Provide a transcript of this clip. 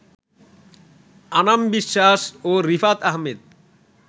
আনাম বিশ্বাস ও রিফাত আহমেদ